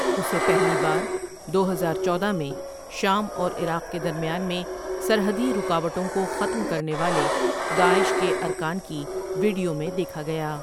اسے پہلی بار دو ہزار چودہ میں شام اور عراق کے درمیان میں سرحدی رکاوٹوں کو ختم کرنے والے داعش کے ارکان کی وڈیو میں دیکھا گیا ۔